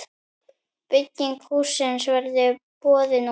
Bygging hússins verður boðin út.